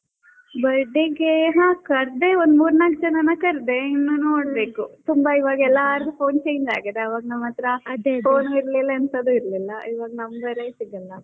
Birthday ಗೆ ಹಾ ಕರ್ದೆ ಒಂದ್ ಮೂರೂ ನಾಕ್ ಜನರನ್ನ ಕರ್ದೆ ಇನ್ನು ನೊಡಬೇಕು, ತುಂಬಾ ಇವಾಗ ಎಲ್ಲಾರ್ದು phone change ಆಗಿದೆ. ಆವಾಗ phone ಇರ್ಲಿಲ್ಲಾ ಏನ್ತದು ಇರ್ಲಿಲ್ಲಾ, ಇವಾಗ number ಏ ಸಿಗಲ್ಲಾ.